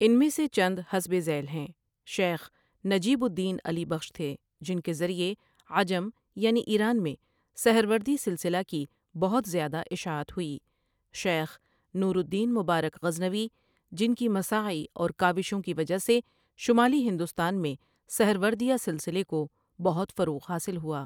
ان میں سے چند حسب ذیل ہیں شیخ نجیب الدین علی بخش تھے جن کے ذریعے عجم یعنی ایران میں سہروردی سلسلہ کی بہت زیادہ اِشاعت ہوئی شیخ نور الدین مبارک غزنوی جن کی مساعی اور کاوِشوں کی وجہ سے شمالی ہندوستان میں سہروردیہ سلسلے کو بہت فروغ حاصل ہوا ۔